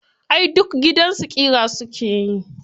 Ai duk gidansu ƙira su ke yi.